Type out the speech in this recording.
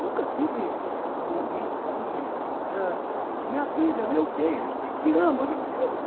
Nunca tive um momento assim de ãh... Minha vida, meu beijo, te amo.